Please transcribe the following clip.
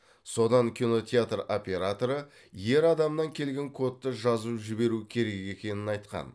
содан кинотеатр операторы ер адамнан келген кодты жазып жіберу керек екенін айтқан